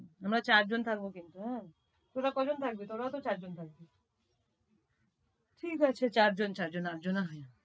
আমরা চারজন থাকব কিন্তু হ্যাঁ, তোরা কয়জন থাকবি? তোরাও তো চারজন থাকবি। ঠিকাছে চারজন চারজন আটজন হয়।